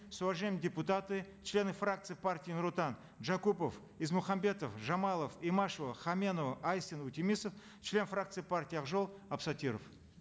с уважением депутаты члены фракции партии нур отан джакупов измухамбетов жамалов имашева хаменова айсина утемисов член фракции партии ак жол абсаттиров